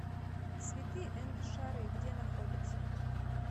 цветы энд шары где находится